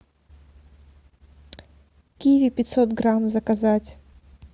киви пятьсот грамм заказать